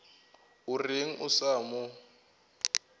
o reng a sa mo